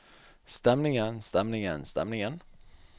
stemningen stemningen stemningen